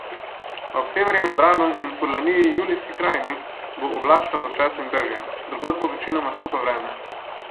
Ob severnem Jadranu in v Furlaniji Julijski krajini bo oblačno z občasnim dežjem, drugod bo večinoma suho vreme.